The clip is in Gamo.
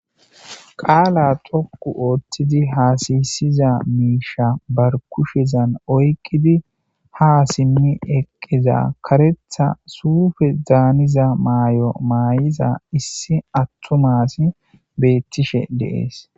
Qaala tokku ooththidi haasiyisiza miisha barkushezan oykkidi ha simmi eqqiza karetha suufe zaaniza maayo maayiza issi attu maasi beettishe deees.